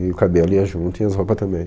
E o cabelo ia junto e as roupas também.